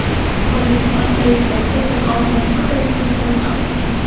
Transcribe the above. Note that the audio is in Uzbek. O‘zbekiston Prezidenti Jahon banki prezidentini qabul qildi.